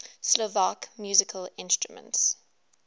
slovak musical instruments